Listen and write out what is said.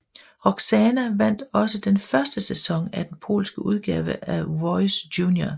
Roksana vandt også den første sæson af den polske udgave af Voice Junior